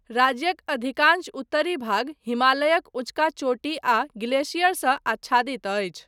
राज्यक अधिकांश उत्तरी भाग हिमालयक ऊँचका चोटी आ ग्लेशियर सँ आच्छादित अछि।